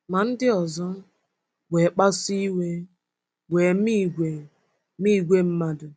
Ma ndị ọzọ wee kpasuo iwe wee mee ìgwè mee ìgwè mmadụ.